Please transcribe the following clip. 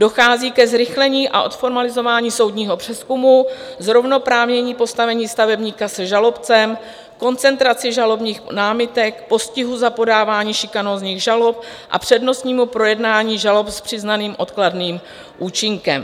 Dochází ke zrychlení a odformalizování soudního přezkumu, zrovnoprávnění postavení stavebníka se žalobcem, koncentraci žalobních námitek, postihu za podávání šikanózních žalob a přednostnímu projednání žalob s přiznaným odkladným účinkem.